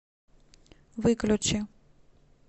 выключи